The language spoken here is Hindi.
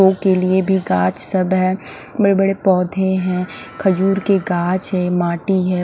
के लिए भी गाछ सब है बड़े बड़े पौधे है खजूर के गाछ है माटी है।